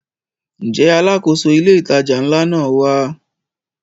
Ǹjẹ́ Alákóso ilé ìtajà ńlá náà wá?